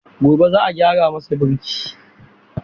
Gobe ​​za a gyara masa birki.